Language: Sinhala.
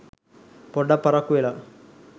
පොඩ්ඩක් පරක්කු වෙලා.